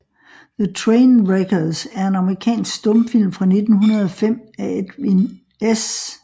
The Train Wreckers er en amerikansk stumfilm fra 1905 af Edwin S